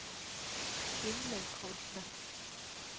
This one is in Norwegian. Gunlaug Hodne